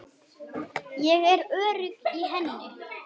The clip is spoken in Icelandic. Ég er örugg í henni.